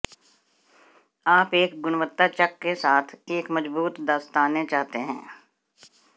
आप एक गुणवत्ता चक के साथ एक मजबूत दस्ताने चाहते हैं